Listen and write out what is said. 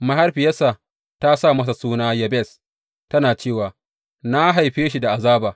Mahaifiyarsa ta sa masa suna Yabez, tana cewa, Na haife shi da azaba.